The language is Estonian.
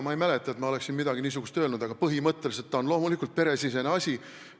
Ma ei mäleta, et ma oleksin midagi niisugust öelnud, aga põhimõtteliselt on see loomulikult peresisene asi.